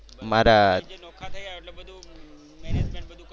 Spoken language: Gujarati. નોખા થયા હોય એટલે બધુ management બધુ